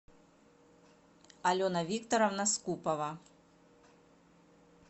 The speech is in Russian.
алена викторовна скупова